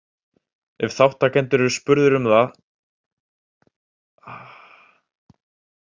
Ef þátttakendur eru spurðir um þetta þvertaka þeir flestir fyrir það.